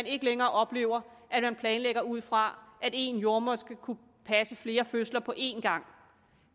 ikke længere oplever at de planlægger ud fra at én jordemoder skal kunne passe flere fødsler på en gang